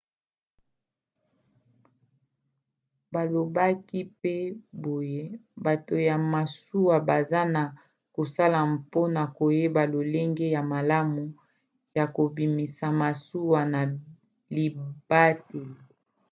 balobaki pe boye bato ya masuwa baza na kosala mpona koyeba lolenge ya malamu ya kobimisa masuwa na libateli